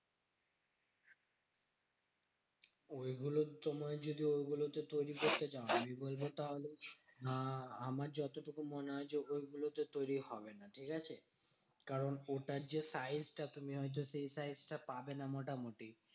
ঐগুলো তোমায় যদি ঐগুলোতে তৈরী করতে চাও? আমি বলবো তাহলে আহ আমার যতটুকু মনে হয় যে, ঐগুলোতে তৈরী হবে না, ঠিকাছে? কারণ ওটার যে size টা তুমি হয়তো সেই size টা পাবে না মোটামুটি।